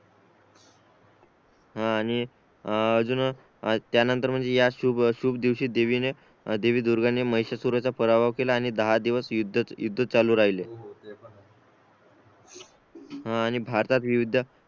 हा आणि अजून त्या नंतर म्हणजे या शुभ दिवशी देवीने देवी दुर्गा ने महिषासुराचा पराभव केला आणि दहा दिवस युद्ध चालू राहिले हा आणि भारतात विविध